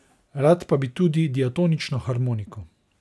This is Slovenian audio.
Rad pa bi tudi diatonično harmoniko.